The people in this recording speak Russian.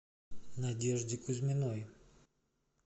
надежде кузьминой